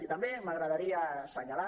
i també m’agradaria senyalar